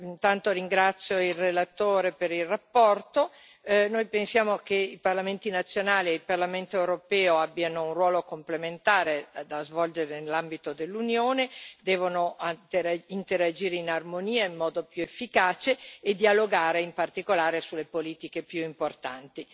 Signor Presidente, onorevoli colleghi, intanto ringrazio il relatore per la relazione. Noi pensiamo che i parlamenti nazionali e il Parlamento europeo abbiano un ruolo complementare da svolgere nell'ambito dell'Unione devono interagire in armonia in modo più efficace e dialogare, in particolare, sulle politiche più importanti.